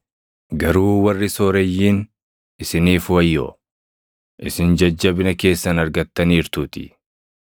“Garuu warri sooreyyiin isiniif wayyoo; isin jajjabina keessan argattaniirtuutii.